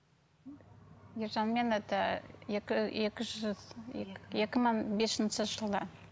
ержанмен это екі мың бесінші жылы